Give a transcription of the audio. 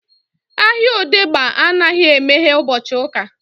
Ahịa odegba anaghị emeghe ụbọchị uka